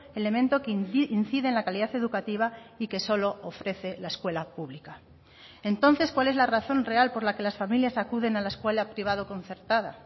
elemento que incide en la calidad educativa y que solo ofrece la escuela pública entonces cuál es la razón real por la que las familias acuden a la escuela privado concertada